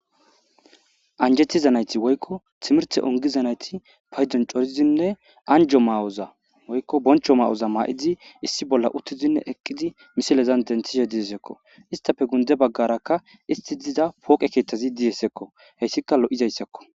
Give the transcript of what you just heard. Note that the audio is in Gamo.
anjetiza nayti woykko timirte ongiza nayti paydon corizinne anjo maa7oza woykko boncho ma7oza maa7idi issi bolla uttizinne eqqidi misilezan dentishe diyesekko istafe gunde baggarakka isti diza pooqe keeththazi diyesekko heyssika lo7izayssakko